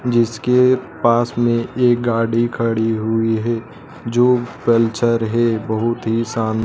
जिसके पास में एक गाड़ी खड़ी हुई है जो कल्चर है बहुत ही सान--